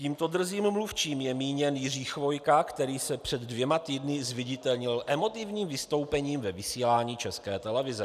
Tímto drzým mluvčím je míněn Jiří Chvojka, který se před dvěma týdny zviditelnil emotivním vystoupením ve vysílání České televize.